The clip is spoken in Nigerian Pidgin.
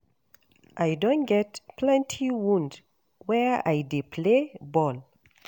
I don get plenty wound where I dey play ball,.